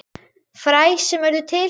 Fræ sem urðu til.